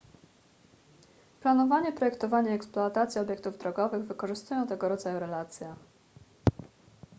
planowanie projektowanie i eksploatacja obiektów drogowych wykorzystują tego rodzaju relacje